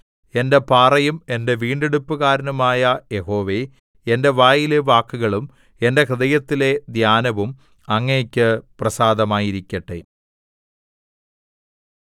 എന്റെ പാറയും എന്റെ വീണ്ടെടുപ്പുകാരനുമായ യഹോവേ എന്റെ വായിലെ വാക്കുകളും എന്റെ ഹൃദയത്തിലെ ധ്യാനവും അങ്ങയ്ക്കു പ്രസാദമായിരിക്കട്ടെ